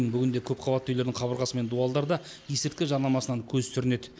бүгінде көпқабатты үйлердің қабырғасы мен дуалдарда есірткі жарнамасынан көз сүрінеді